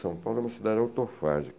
São Paulo é uma cidade autofágica.